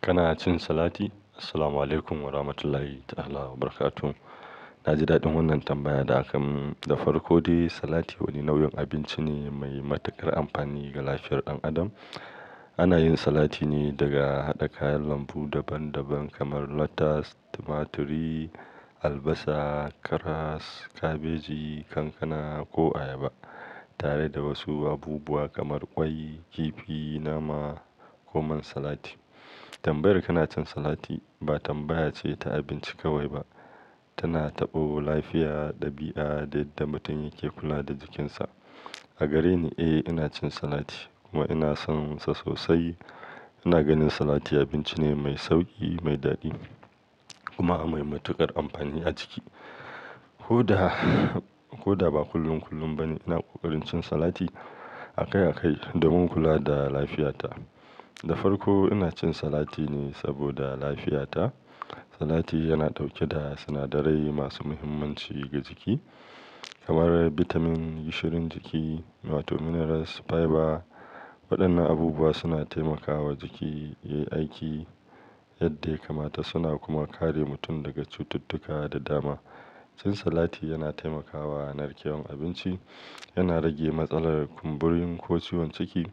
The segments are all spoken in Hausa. Kana cin salati? Assalamualaikum warahmatullahi ta'ala wabarakatuh. Na ji daɗin wannan tambaya da aka mun dafarko, ko dai salati wani nau'in abinci ne mai matuƙar amfani ga lafiyar ɗan adam. Ana yin salati ne daga haɗa kayan lambu daban daban kamar lettus, tumaturi, albasa, karas, kabeji, kankana ko ayaba, tare da wasu abubuwa kamar ƙwai, kifi, nama ko man salati. Tambayar "Kana cin salati?" ba tambaya ce ta abinci kawai ba, tana taɓo lafiya, ɗabi'a da yadda mutum yake kula da jikinsa. A gareni, eh, ina cin salati kuma ina sonsa sosai. Ina ganin salati abinci ne mai sauƙi, mai daɗi kuma mai matuƙar amfani a jiki. Koda, koda ba kullum kullum ba ne. Ina ƙoƙarin cin salati akai akai domin kula da lafiyata. Da farko ina cin salati ne saboda lafiyata. Salati yana ɗauke da sinadarai masu muhimmanci ga jiki kamar bitamin, gishirin jiki, wato minerals, fiber. Waɗannan abubuwa suna taimakawa jiki yayi aiki yadda ya kamata, suna kuma kare mutum daga cututtuka da dama. Cin salati yana taimakawa narkewar abinci, yana rage matsalar kumburin ko ciwon ciki.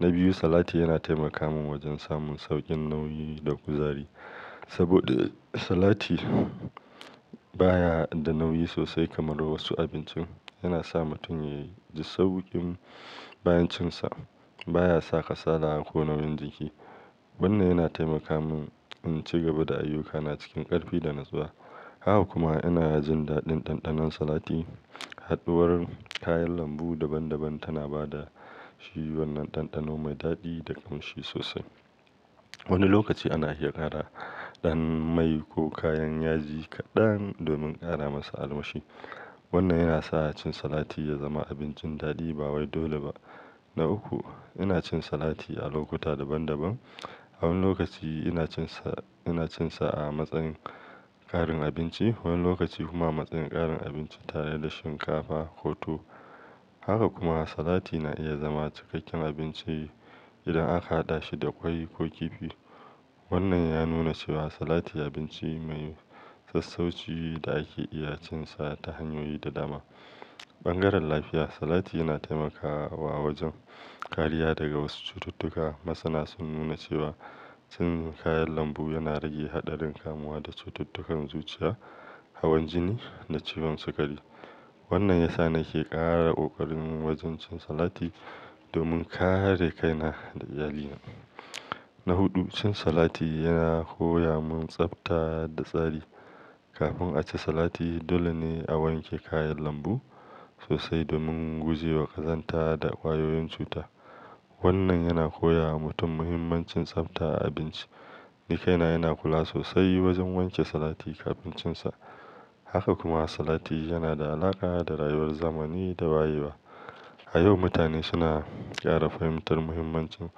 Na biyu, salati yana taimaka mun wajen samun sauƙin nauyi da kuzari. Saboda salati baya da nauyi sosai kamar wasu abincin, yana sa mutum yayi sauƙin bayan cin sa. Baya saka sala ko nauyin jiki. Wannan yana taimaka mun in ci gaba da ayyukana cikin ƙarfi da natsuwa. Haka kuma ina jin daɗin ɗanɗanon salati. Haɗuwar kayan lambu daban daban tana ba da shi wannan ɗanɗano mai daɗi da ƙamshi sosai. Wani lokaci ana iya ƙara ɗan mai ko kayan yaji kaɗan domin ƙara masa almushi. Wannan yana sa cin salati ya zama abincin daɗi ba wai dole ba. Na uku, ina cin salati a lokuta daban daban. Wani lokaci ina cin sa, ina cin sa a matsayin ƙarin abinci, wani lokaci kuma matsayin ƙarin abinci tare da shinkafa ko tuwo. Haka kuma salati na iya zama cikakken abinci idan aka haɗa shi da ƙwai ko kifi. Wannan ya nuna cewa salati abinci mai sassauci da ake iya cin sa ta hanyoyi da dama. Bangaren lafiya, salati yana taimakawa wajen kariya daga wasu cututtuka. Masana sun nuna cewa cin kayan lambu yana rage haɗarin kamuwa da cututtukan zuciya, hawan jini da ciwon sikari. Wannan ya sa nake ƙara ƙoƙari wajen cin salati domin kare kaina da iyalina. Na huɗu, cin salati yana koya mun tsafta da tsari. Kafin a ci salati, dole ne a wanke kayan lambu sosai domin guje wa ƙazanta da ƙwayoyin cuta. Wannan yana koya wa mutum muhimmancin tsafta a abinci. Ni kaina yana kula sosai wajen wanke salati kafin cin sa. Haka kuma salati yana da alaƙa da rayuwar zamani da wayewa. A yau, mutane suna ƙara fahimtar muhimmancin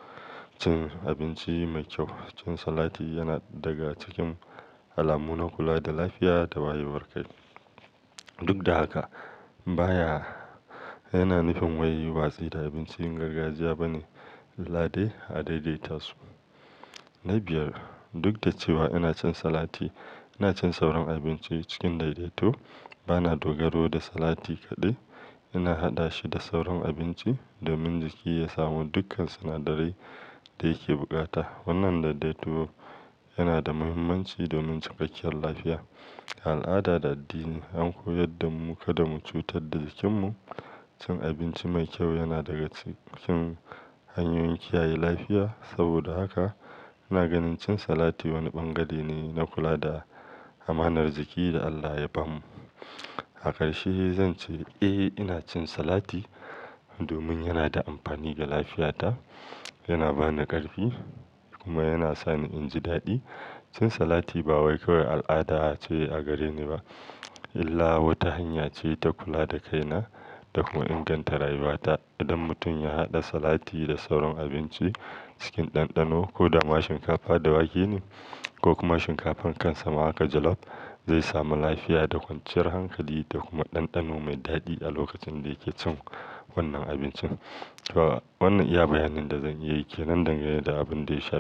cin abinci mai kyau. Cin salati yana daga cikin alamun kula da lafiya da wayewar kai. Duk da haka, baya yana nufin wai yin watsi da abincin gargajiya bane, lallai a daidaitarsu. Na biyar, duk da cewa ina cin salati, ina cin sauran abinci cikin daidaito. Ba na dogaro da salati kaɗai. Ina haɗa shi da sauran abinci domin jiki ya samu dukkan sinadarai da yake bukata. Wannan daidaito yana da muhimmanci domin cikakkiyar lafiya. Al'ada da addini an koyar da mu kada mu cutar da jikinmu. Cin abinci mai kyau yana daga cikin hanyoyin kiyaye lafiya. Saboda haka ina ganin cin salati wani ɓangare ne na kula da amanar jiki da Allah ya ba mu. A ƙarshe zan ce, eh, ina cin salati domin yana da amfani ga lafiyata, yana ba ni ƙarfi kuma yana sa ni in ji daɗi. Cin salati ba wai kawai al'ada ce a gareni ba, illa wata hanya ce ta kula da kaina da kuma inganta rayuwata. Idan mutum ya haɗa salati da sauran abinci cikin ɗanɗano, ko da ma shinkafa da wake ne ko kuma shinkafan kan sama aka jalop, zai samu lafiya da kwanciyar hankali da kuma ɗanɗano mai daɗi a lokacin da yake cin wannan abincin. To wannan iya bayanin da zan yi ke nan da nan da abin da ya shafi.